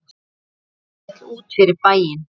Rúntur rétt út fyrir bæinn.